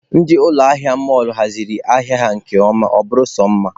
Ndị ụlọ ahịa mọlụ hazichara ahịa ha nke ọma, ọ bụrụ sọ mma.